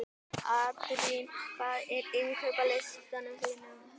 Adrían, hvað er á innkaupalistanum mínum?